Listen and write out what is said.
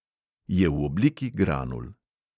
Je v obliki granul.